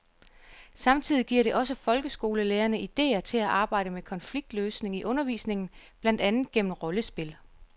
Samtidig giver det også folkeskolelærerne idéer til at arbejde med konfliktløsning i undervisningen, blandt andet gennem rollespil.